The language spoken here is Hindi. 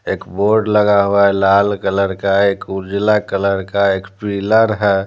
एक बोर्ड लगा हुआ है लाल कलर का एक उर्जला कलर का एक फिलर है।